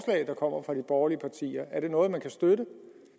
der kommer fra de borgerlige partier er det noget man kan støtte